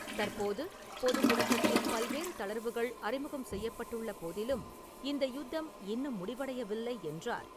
தற்போது பொது முடக்கத்தில் பல்வேறு தளர்வுகள் அறிமுகம் செய்யப்பட்டுள்ள போதிலும், இந்த யுத்தம் இன்னும் முடிவடையவில்லை என்றார்.